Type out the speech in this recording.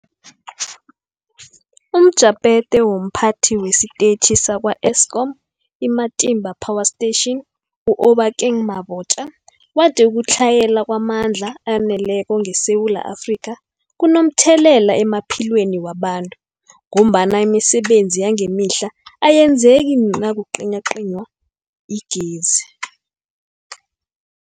UmJaphethe womPhathi wesiTetjhi sakwa-Eskom i-Matimba Power Station u-Obakeng Mabotja wathi ukutlhayela kwamandla aneleko ngeSewula Afrika kunomthelela emaphilweni wabantu ngombana imisebenzi yangemihla ayenzeki nakucinywacinywa igezi.